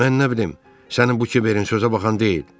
Mən nə bilim sənin bu kiverin sözə baxan deyil.